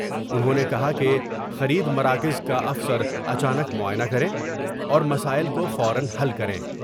انہوں نے کہا کہ خرید مراکز کا افسر اچا نک معائنہ کر میں اور مسائل کو فورا حل کریں ۔